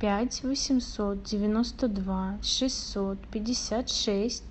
пять восемьсот девяносто два шестьсот пятьдесят шесть